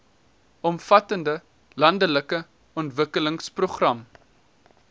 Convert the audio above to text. omvattende landelike ontwikkelingsprogram